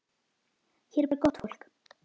Hér er bara gott fólk.